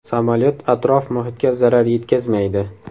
Samolyot atrof-muhitga zarar yetkazmaydi.